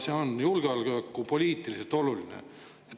See on ka julgeolekupoliitiliselt oluline.